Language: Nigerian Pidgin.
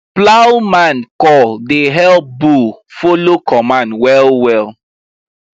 plowman call dey help bull follow command well well